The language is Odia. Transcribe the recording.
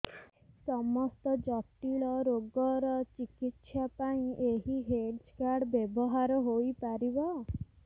ସମସ୍ତ ଜଟିଳ ରୋଗର ଚିକିତ୍ସା ପାଇଁ ଏହି ହେଲ୍ଥ କାର୍ଡ ବ୍ୟବହାର ହୋଇପାରିବ